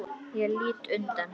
Ég lít undan.